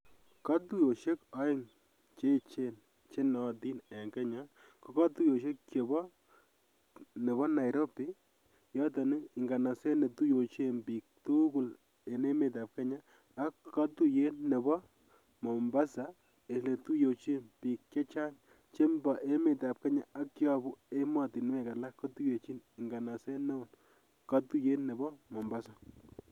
Katuyosiek aeng chenootin en Kenya ko katuyosiek chebo nebo Nairobi noton Nganaset netuyechin biik tugul en emetab Kenya ak katuyet nebo Mombasa oletuyechin biik chechang chebo emetab Kenya che yobu ematinwek alak kotuyechin nganaset neu katuyet nebo Mombasa.